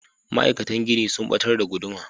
Ma'aikatan gini sun batar da guduma.